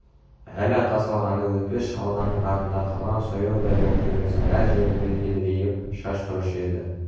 әли атасы алғанда өтпес шалғының артыңда қалған сояудай боп төбесінің әр жерінде едірейіп шаш тұрушы еді